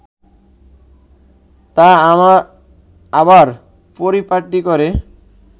তা আবার পরিপাটি করে